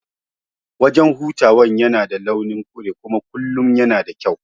Wajan hutawan yana da launin kure kuma kullum yana da kyau